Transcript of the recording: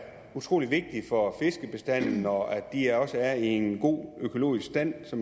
utrolig vigtige for fiskebestanden og at de også er i en god økologisk stand så